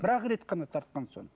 бір ақ рет тартқан соң